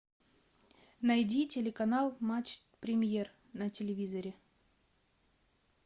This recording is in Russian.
найди телеканал матч премьер на телевизоре